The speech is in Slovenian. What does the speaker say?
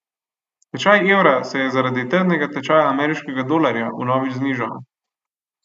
Tečaj evra se je zardi trdnega tečaja ameriškega dolarja vnovič znižal.